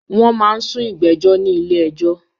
Wọ́n máa ń sún ìgbéjọ́ ní ilé ẹjọ́.